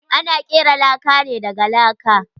Ana kera laka ne daga laka.